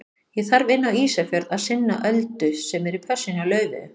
Ég þarf inn á Ísafjörð að sinna Öldu sem er í pössun hjá Laufeyju.